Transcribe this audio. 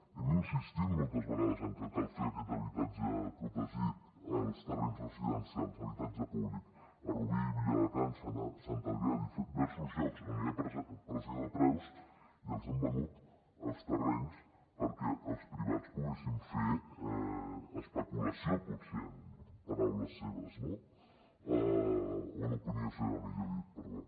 hem insistit moltes vegades en que cal fer aquest habitatge protegit als terrenys residencials habitatge públic a rubí viladecans sant adrià a diversos llocs on hi ha pressió de preus i els han venut els terrenys perquè els privats poguessin fer especulació potser en paraules seves no o en opinió seva millor dit perdó